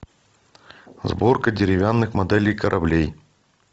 сборка деревянных моделей кораблей